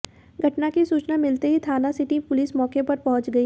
घटना की सूचना मिलते ही थाना सिटी पुलिस मौके पर पहुंच गई